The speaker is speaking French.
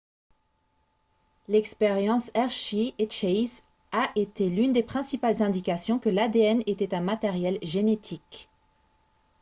l'expérience hershey et chase a été l'une des principales indications que l'adn était un matériel génétique